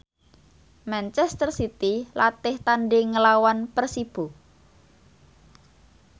manchester city latih tandhing nglawan Persibo